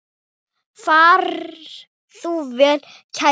Far þú vel, kæri vinur.